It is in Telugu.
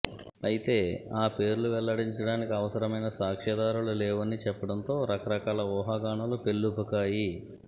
అయితే ఆ పేర్లువెల్లడించడానికి అవసరమైన సాక్ష్యాధారాలు లేవని చెప్పడంతో రకరకాల ఊహాగానాలు పెల్లుబుకాయి